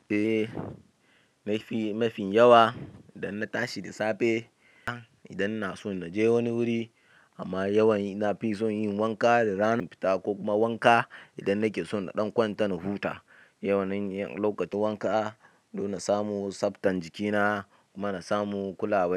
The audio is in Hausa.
Eh, ma mafi mafi yawa idan na tashi da safe idan na so na je wani wuri amma yawan na fi son yin wanka da rana fita ko kuma wanka idan nake son na ɗan kwanta na huta. Ina yawanyin lokacin wanka don na samu tsaftan jikina kuma na samu kulawa.